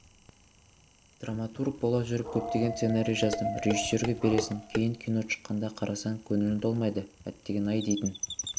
драматург бола жүріп көптеген сценарий жаздым режиссерге бересің кейін кино шыққанда қарасаң көңілің толмайды әттеген-ай дейтін